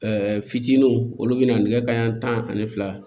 fitininw olu bɛna nɛgɛ kanɲɛ tan ani fila